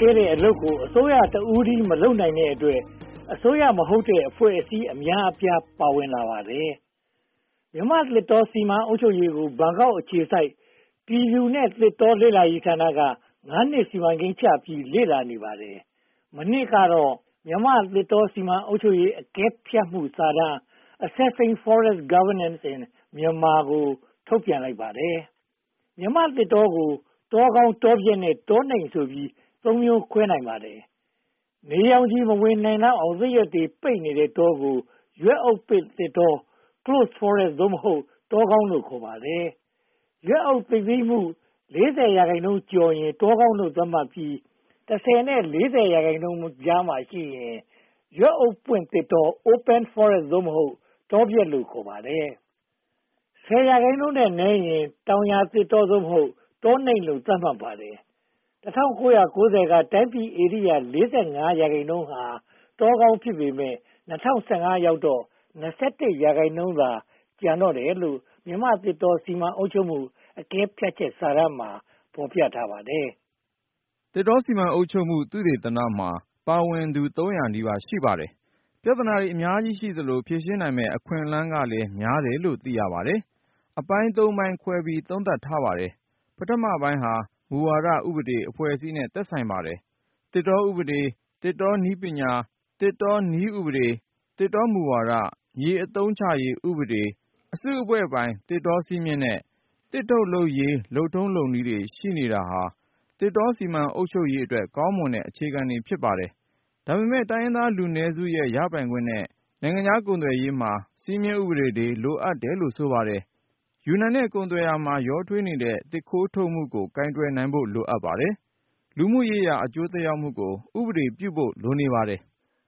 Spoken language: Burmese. ကဲတဲ့အလုပ်ကို အစိုးရတဦးတည်း မလုပ်နိုင်တဲ့အတွက် အစိုးရမဟုတ်တဲ့ အဖွဲ့အစည်း အများအပြား ပါဝင်နေပါတယ်။ မြန်မာ့သစ်တော စီမံအုပ်ချုပ်ရေးကို ဘန်ကောက်အခြေစိုက် ပြည်သူနဲ့သစ်တော လေ့လာရေးဌာနက (၅) နှစ် စီမံကိန်းချပြီး လေ့လာနေပါတယ်။ မနှစ်ကတော့ မြန်မာ့သစ်တော စီမံအုပ်ချုပ်ရေး အကဲဖြတ်စာတမ်း Assessing Forest Governance in Myanmar ကို ထုတ်ပြန်လိုက်ပါတယ်။ မြန်မာ့သစ်တောကို တောကောင်း၊ တောပျက်နဲ့ တောနိမ့်ဆိုပြီး (၃) မျိုး ခွဲခြားနိုင်ပါတယ်။ နေရောင်ခြည်မဝင်နိုင်လောက်အောင် သစ်ရွက်တွေ ပိတ်နေတဲ့တောကို ရွက်အုပ်ပိတ်သစ်တော Closed Forest (သို့မဟုတ်) တောကောင်းလို့ ခေါ်ပါတယ်။ ရွက်အုပ်သိပ်သည်းမှု (၄၀) ရာခိုင်နှုန်းကျော်ရင် တောကောင်းလို့ သတ်မှတ်ပြီး (၁၀) နဲ့ (၄၀) ရာခိုင်နှုန်းကြားမှာရှိရင် ရွက်အုပ်ပွင့်သစ်တော Open Forest (သို့မဟုတ်) တောပျက်လို့ ခေါ်ပါတယ်။ (၁၀) ရာခိုင်နှုန်းထက်နည်းရင် တောင်ယာသစ်တော (သို့မဟုတ်) တောနိမ့်လို့ သတ်မှတ်ပါတယ်။ ၁၉၉၀ က တိုင်းပြည်ဧရိယာ (၄၅) ရာခိုင်နှုန်းဟာ တောကောင်း ဖြစ်ပေမယ့် ၂၀၁၅ ရောက်တော့ (၂၁) ရာခိုင်နှုန်းသာ ကျန်ပါတော့တယ်လို့ "မြန်မာ့သစ်တော စီမံအုပ်ချုပ်မှု အကဲဖြတ်ချက်" စာတမ်းမှာ ဖော်ပြထားပါတယ်။ သစ်တောစီမံအုပ်ချုပ်မှု သုတေသနမှာ ပါဝင်သူ (၃၀၀) နီးပါး ရှိပါတယ်။ ပြဿနာတွေ အများကြီးရှိသလို၊ ဖြေရှင်းနိုင်မယ့် အခွင့်အလမ်းတွေလည်း များတယ်လို့ သိရပါတယ်။ အပိုင်း (၃) ပိုင်းခွဲပြီး သုံးသပ်ထားပါတယ်။ ပထမပိုင်းက မူဝါဒ၊ ဥပဒေ၊ အဖွဲ့အစည်းနဲ့ သက်ဆိုင်ပါတယ်။ သစ်တောဥပဒေ၊ သစ်တောနည်းဥပဒေ၊ သစ်တောမူဝါဒ၊ မြေအသုံးချရေးဥပဒေ၊ အစုအဖွဲ့ပိုင်းသစ်တောစည်းမျဉ်းနဲ့ သစ်ထုတ်လုပ်ရေး လုပ်ထုံးလုပ်နည်းတွေ ရှိနေတာဟာ သစ်တောစီမံအုပ်ချုပ်ရေးအတွက် ကောင်းမွန်တဲ့ အခြေခံတွေ ဖြစ်ပါတယ်။ ဒါပေမဲ့ တိုင်းရင်းသားလူနည်းစုရဲ့ ရပိုင်ခွင့်နဲ့ နိုင်ငံခြားကုန်သွယ်ရေးမှာ စည်းမျဉ်းတွေ လိုအပ်တယ်လို့ ဆိုပါတယ်။ ယူနန်နဲ့ ကုန်သွယ်ရေးမှာ ရောထွေးနေတဲ့ သစ်ခိုးထုတ်မှုကို ကိုင်တွယ်နိုင်ဖို့ လိုအပ်ပါတယ်။ လူမှုရေးရာ အကျိုးသက်ရောက်မှုကို ဥပဒေပြုဖို့ လိုနေပါတယ်